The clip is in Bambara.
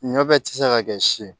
Ɲɔ bɛɛ ti se ka kɛ si ye